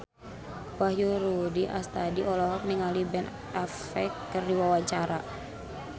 Wahyu Rudi Astadi olohok ningali Ben Affleck keur diwawancara